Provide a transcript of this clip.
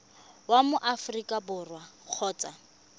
wa mo aforika borwa kgotsa